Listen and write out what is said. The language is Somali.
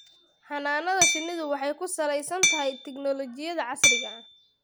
Xannaanada shinnidu waxay ku salaysan tahay tignoolajiyada casriga ah.